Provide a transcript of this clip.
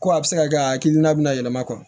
Ko a bɛ se ka kɛ a hakilina bɛ na yɛlɛma